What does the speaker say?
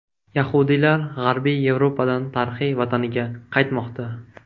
Yahudiylar G‘arbiy Yevropadan tarixiy vataniga qaytmoqda.